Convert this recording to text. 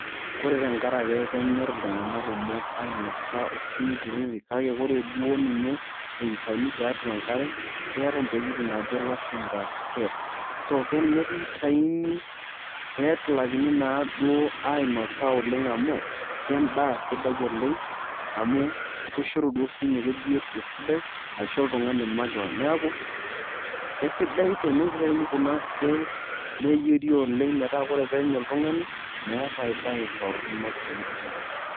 Kore tenkaraki kenyorr iltung'anak kumok aainasa osinkirri kake ore duo ninye eitayuni tiatua enkare keeta ntokitin naajo ilashumba scalesc[s] keninye akeduoo itayuni nigilakini naaduo ainosa oleng' amu kendaa sidai oleng' amu kishoru duo sinye biotisho sidai ashu oltung'ani makeon, neeku kesidai tenitauni kuna scales neyieri oleng' metaa tenenya oltung'ani meeta ai baye torrono sii duo.